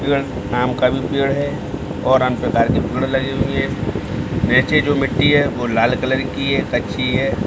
आम का भी पेड़ है और अन्य प्रकार के पेड़ लगे हुए है वैसे जो मिट्टी है लाल कलर की है अच्छी है।